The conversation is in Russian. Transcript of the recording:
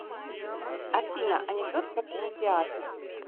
афина анекдот про кинотеатр